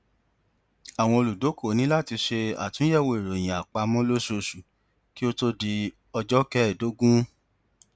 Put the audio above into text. àwọn olùdókòwò ní láti ṣe àtúnyẹwò ìròyìn àpamọ lóṣooṣù kí ó tó di ọjọ kẹèdógún